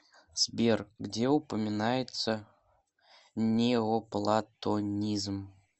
сбер где упоминается неоплатонизм